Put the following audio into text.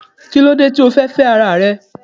Kílódé tí o fi fẹ́ féẹ́ ara rẹ